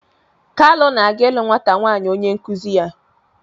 Kalu na-aga ịlụ nwata nwaanyị onye nkụzi ya.